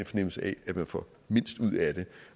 fornemmelse af at man får mindst ud af det